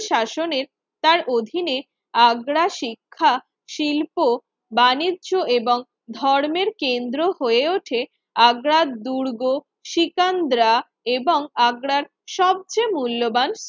শাসনের তার অধীনে আগ্রা শিক্ষা, শিল্প, বাণিজ্য এবং ধর্মের কেন্দ্র হয়ে ওঠে আগ্রার দুর্গ শ্রীকান্দ্রা এবং আগ্রার সবচেয়ে মূল্যবান